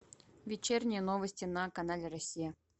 вечерние новости на канале россия